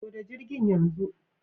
Loda jirgin yanzu